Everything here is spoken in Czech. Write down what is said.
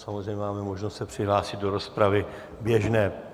Samozřejmě máme možnost se přihlásit do rozpravy běžné.